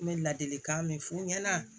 N bɛ ladilikan min f'u ɲɛna